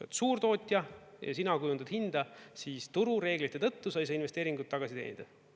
Oled suurtootja ja sina kujundatud hinda, siis turureeglite tõttu sa ei saa investeeringut tagasi teenida.